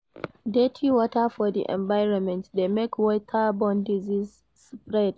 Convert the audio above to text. Dirty water for di environment de make waterborne diseases spread